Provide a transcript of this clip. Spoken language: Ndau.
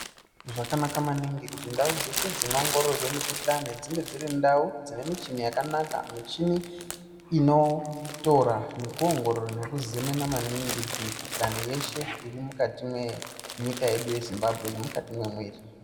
Zvakanaka maningi kuti ndau dzeshe dzinoongororwe mikuhlani dzinge dziri ndau dzine michini yakanaka michini inotora nekuongorora nekuzemena maningi mikuhlani yeshe irimukati menyika yedu yeZimbabwe nemukati memwiiri.